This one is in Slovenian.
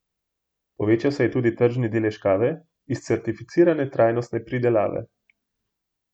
Povečal se je tudi tržni delež kave iz certificirane trajnostne pridelave.